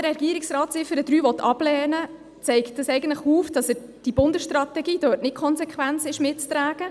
Dass der Regierungsrat die Ziffer 3 ablehnen will, zeigt eigentlich, dass er dort die Bundesstrategie nicht konsequent mitträgt.